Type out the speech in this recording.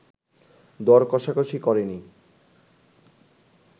দর কষাকষি করেনি